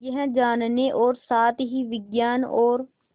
यह जानने और साथ ही विज्ञान और